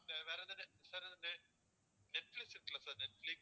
வேற எதாவது sir இந்த நெட்பிளிக்ஸ் இருக்குல்ல sir நெட்பிளிக்ஸ்